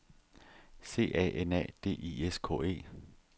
C A N A D I S K E